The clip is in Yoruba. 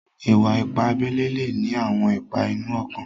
Ìwà-ìpà àbèlè le ní àwọn ìpà inú ọ̀kàn.